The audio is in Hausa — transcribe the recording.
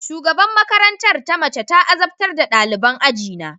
Shugaban makarantar ta mace ta azabtar da daliban ajina